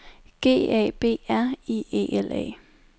G A B R I E L A